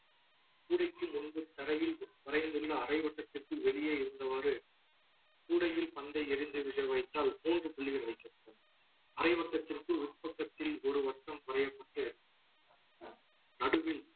கூடைக்கு முன்பு தரையில் வரைந்துள்ள அரை வட்டத்திற்குள் வெளியே இருந்தவாறு கூடையில் பந்தை எரிந்து விழ வைத்தால் மூன்று புள்ளிகள் வைக்கப்படும் அரை வருடத்திற்குள் உட்பக்கத்தில் ஒரு வட்டம் குறையப்பட்டு நடுவில்